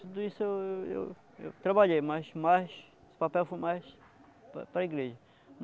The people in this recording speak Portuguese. Tudo isso eu eu eu trabalhei, mas mais, esse papel foi mais para para a igreja.